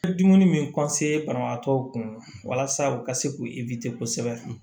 Ni dumuni min banabagatɔw kun walasa u ka se k'u kosɛbɛ